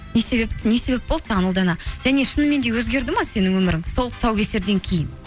не себеп не себеп болды саған ұлдана және шынымен де өзгерді ме сенің өмірің сол тұсаукесерден кейін